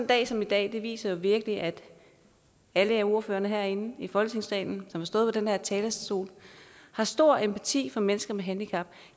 dag som i dag viser virkelig at alle ordførere herinde i folketingssalen som har stået på den her talerstol har stor empati for mennesker med handicap